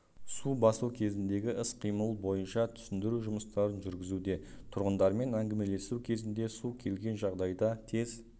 су басу кезіндегі іс-қимыл бойынша түсіндіру жұмыстарын жүргізуде тұрғындармен әңгімелесу кезінде су келген жағдайда тез